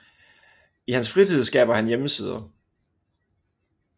I hans fritid skaber han hjemmesider